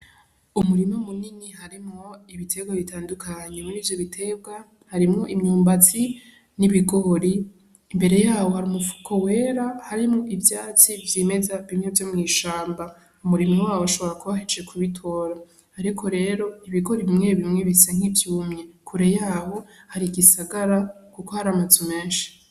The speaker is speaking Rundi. Umurima munini, harimwo ibiterwa bitandukanye, muri ivyo biterwa harimwo imyumbati n'ibigori, imbere yaho hari umufuko wera harimwo ivyatsi vyimeza bimwe vyo mw'ishamba, umurimyi waho ashobora kuba ahejeje kubitora, ariko rero ibigori bimwe bimwe bisa nkivyumye kure yaho hari igisagara kuko hari amazu menshi.